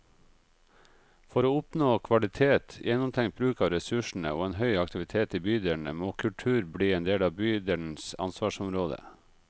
For å oppnå kvalitet, gjennomtenkt bruk av ressursene og en høy aktivitet i bydelene, må kultur bli en del av bydelenes ansvarsområde.